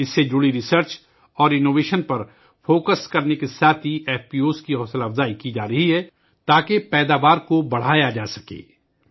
اس سے متعلق تحقیق اور اختراع پر توجہ دینے کے ساتھ ساتھ، ایف پی او کی حوصلہ افزائی کی جا رہی ہے تاکہ پیداوار میں اضافہ کیا جا سکے